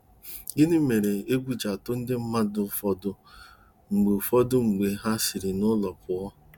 Gịnị mere egwu ji atụrụ ndị mmadụ ụfọdụ mgbe ụfọdụ mgbe ha siri n'ụlọ pụọ?